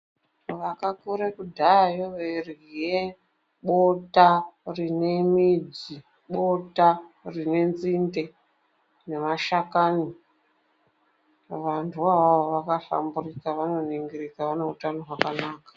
Vakakure kudhayeyo veirye bota rinemidzi, bota rinenzinde, nemashakani, vantuvo avavo vakahlamburuka, vanoningirika vaneutano hwakanaka.